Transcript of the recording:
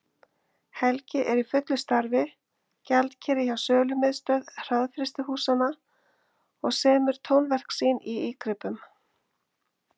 Helgi er í fullu starfi, gjaldkeri hjá Sölumiðstöð hraðfrystihúsanna, og semur tónverk sín í ígripum.